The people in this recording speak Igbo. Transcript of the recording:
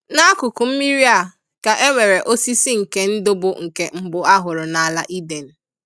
N'akụkụ mmiri a ka enwere osisi nke ndụ bụ nke mbụ ahụrụ n'ala Eden.